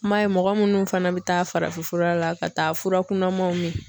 I m'a ye mɔgɔ munnu fana be taa farafin fura la ka taa fura kunnamanw min